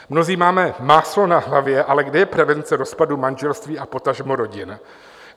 Mnozí máme máslo na hlavě, ale kde je prevence rozpadu manželství a potažmo rodin?